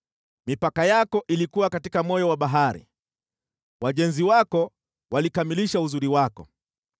Mipaka yako ilikuwa katika moyo wa bahari, wajenzi wako walikamilisha uzuri wako.